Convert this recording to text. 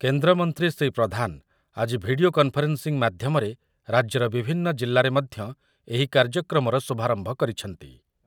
କେନ୍ଦ୍ରମନ୍ତ୍ରୀ ଶ୍ରୀ ପ୍ରଧାନ ଆଜି video conferencing ମାଧ୍ୟମରେ ରାଜ୍ୟର ବିଭିନ୍ନ ଜିଲ୍ଲାରେ ମଧ୍ୟ ଏହି କାର୍ଯ୍ୟକ୍ରମର ଶୁଭାରମ୍ଭ କରିଛନ୍ତି ।